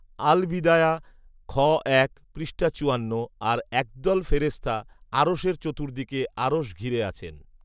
আল বিদায়া, খ এক, পৃষ্ঠা চুয়ান্ন আর একদল ফেরেশতা আরশের চতুর্দিকে আরশ ঘিরে আছেন